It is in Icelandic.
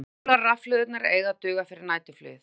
Sólarrafhlöðurnar eiga að duga fyrir næturflugið